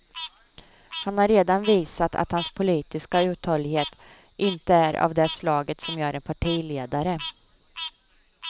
Han har redan visat att hans politiska uthållighet inte är av det slaget som gör en partiledare.